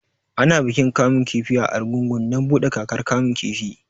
Ana bikin kamun kifi a Argungun don buɗe kakar kamun kifi